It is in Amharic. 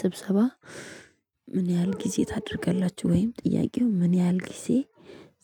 ስብሰባ ምን ያህል ጊዜ ታደርጋላችሁ? ወይም ጥያቄው ምን ያህል ጊዜ